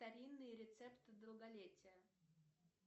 старинные рецепты долголетия